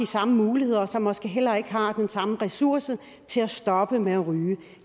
samme muligheder og som måske heller ikke har den samme ressource til at stoppe med at ryge